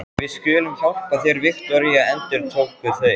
Við skulum hjálpa þér, Viktoría, endurtóku þau.